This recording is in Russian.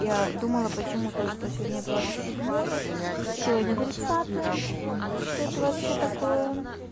я думала почему то что сегодня двадцать седьмое сегодня тридцатое что это вообще такое